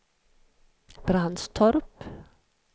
Brandstorp